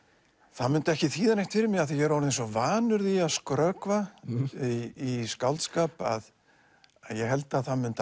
það mundi ekki þýða neitt fyrir mig af því ég er orðinn svo vanur því að skrökva í skáldskap að ég held að það mundi